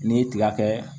N'i ye tiga kɛ